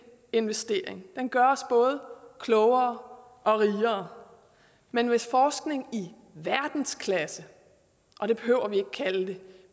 investering den gør os både klogere og rigere men hvis forskning i verdensklasse og det behøver vi ikke at kalde det